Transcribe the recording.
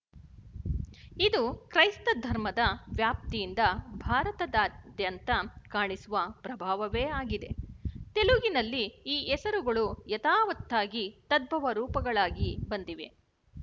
ಇದು ಕ್ರೈಸ್ತಧರ್ಮದ ವ್ಯಾಪ್ತಿಯಿಂದ ಭಾರತಾದ್ಯಂತ ಕಾಣಿಸುವ ಪ್ರಭಾವವೇ ಆಗಿದೆ ತೆಲುಗಿನಲ್ಲಿ ಈ ಹೆಸರುಗಳು ಯಥಾವತ್ತಾಗಿ ತದ್ಭವ ರೂಪಗಳಾಗಿ ಬಂದಿವೆ